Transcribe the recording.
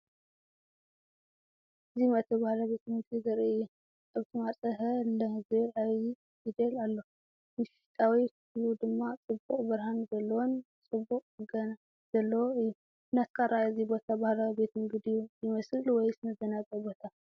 እዚመእተዊ ባህላዊ ቤት ምግቢ ዘርኢ እዩ። ኣብቲ ማዕጾ “ሀ ለ” ዝብል ዓቢ ፊደል ኣሎ። ውሽጣዊ ክፍሊ ድማ ጽቡቕ ብርሃን ዘለዎን ጽቡቕ ጽገና ዘለዎን እዩ። ብናትካ ኣረኣእያ እዚ ቦታ ባህላዊ ቤት ምግቢ ድዩ ይመስል ወይስ መዘናግዒ ቦታ?